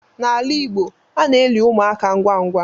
N'ala Igbo ana eli ụmụaka ngwa ngwa